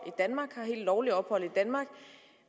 i lovligt ophold i danmark